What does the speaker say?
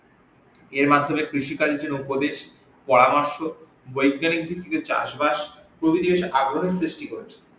এর মাধ্যমে কৃষিকাজ এর জন্য উপদেশ পরামর্শ বৈজ্ঞানিক ভিত্তিতে চাষ বাস প্রভিতির আবরণ সৃষ্টি করেছে